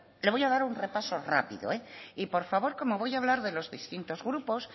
le voy a dar un repaso rápido y por favor como voy a hablar de los distintos grupos